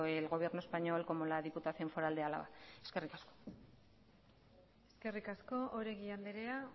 el gobierno español como la diputación foral de álava eskerrik asko eskerrik asko oregi andrea